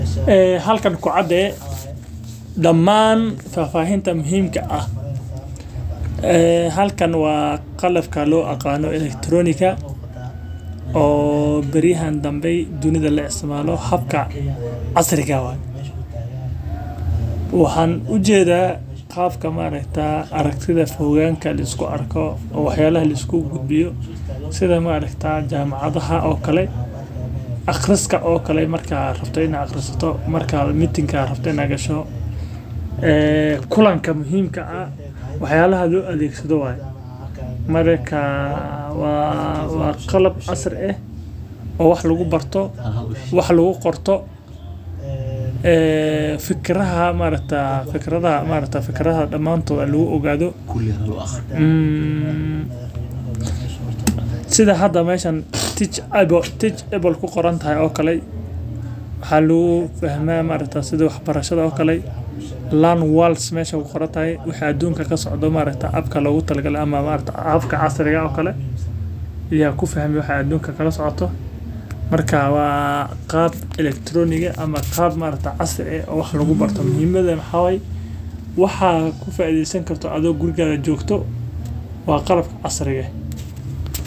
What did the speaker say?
Eh, halkan ku cadde dhammaan faafahinta muhiimka ah. Eh, halkan waa qallab ka loo akano ellectronic ka o bariya haan danbe dunida la isticmaalo habka casriga ah. Waxaan u jeedaa qaabka ma reeta aragtiday foogaanka liis ku arko, waxyaalo liis ku gudbiyo, sidaanu ma reetaan jamacadaha oo kalay, akhriska oo kalay markaa raftay in ay akhrisato, markaa meeting ka rabtaynaagga sho. Eh, kulaanka muhiimka ah waxyaalaha lu aliiksado waay. Mararka waa, waa qallaf casri ah oo wax lagu barto, wax lagu qorto. Eh, fikraha ma reeta fikrada ma reeta fikraha dhammaan toda laguu ogaado. Sida hadda meeshan teach-able, teach-able ku qoran tahay oo kalay? Ha luu fahmay ma reeta sida waxbarashada oo kalay? learn worlds meesha ku qoran tahay? Waxaad duunka ka socoto ma reeta app ka la ogolaayo ama app ka casriga ah oo kale. Iyo ku fahmi waxaad duunka kala socoto. Markaa waaa qaab ellectronic iga ama qaab ma reeta casri ah oo wax lagu barto muhiimadeen xawey. Waxaa ku faaiideysan karto adoo guriga joogto waa qarab casriga ah.